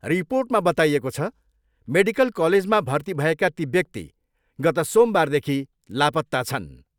रिर्पोटमा बताइएको छ, मेडिकल कलेजमा भर्ती भएका ती व्यक्ति गत सोमबारदेखि लापत्ता छन्।